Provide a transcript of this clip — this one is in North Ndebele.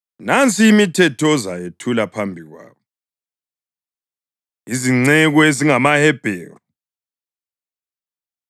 “Nansi imithetho ozayethula phambi kwabo.” Izinceku EzingamaHebheru